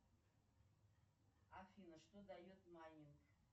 афина что дает майнинг